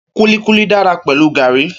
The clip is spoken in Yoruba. Kúlíkúlí dára pẹ̀lú gàrí